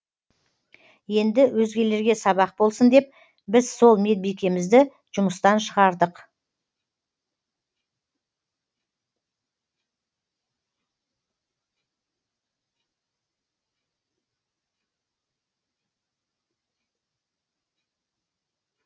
енді өзгелерге сабақ болсын деп біз сол медбикемізді жұмыстан шығардық